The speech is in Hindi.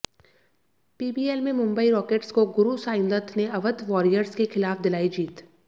पीबीएल में मुंबई रॉकेट्स को गुरुसाईंदत्त ने अवध वॉरियर्स के खिलाफ दिलाई जीत